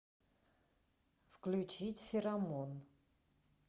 включить феромон